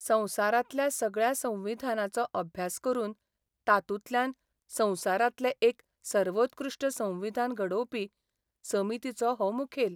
संवसारांतल्या सगळ्या संविधानांचो अभ्यास करून तातूंतल्यान संवसारांतलें एक सर्वोत्कृश्ट संविधान घडोवपी समितीचो हो मुखेल.